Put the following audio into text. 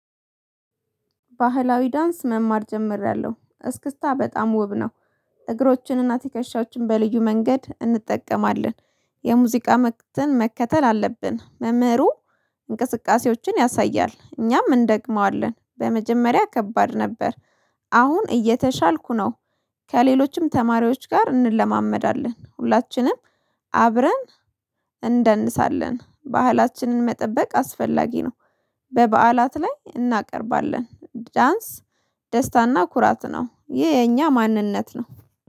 ባህላዊ ዳንስ መማር ጀምሬያለሁ እስክታ በጣም ውብ ነው እግሮችንና ትከሻዎችን በልዩ መንገድ እንጠቀማለን። የሙዚቃ መክተን መከተል አለብን። መምህሩ እንቅስቃሴዎችን ያሳያል እኛም እንደግመዋለን በመጀመሪያ ከባድ ነበር አሁን እየተሻልኩ ነው። ከሌሎችም ተማሪዎች ጋር እንለማመዳለን ሁላችንም አብረን እንደንሳለን። ባህላችንን መጠበቅ አስፈላጊ ነው። በበዓላት ላይ እናቀርባለን ዳንስ ደስታና ኩራት ነው ይሄ የኛ ማንነት ነው።